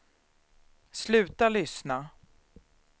sluta lyssna